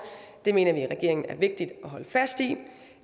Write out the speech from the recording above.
det mener vi i regeringen er vigtigt at holde fast i